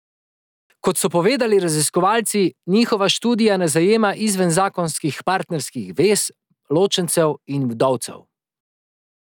Kot so povedali raziskovalci, njihova študija ne zajema izven zakonskih partnerskih zvez, ločencev in vdovcev.